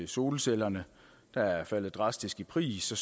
solcellerne er er faldet drastisk i pris og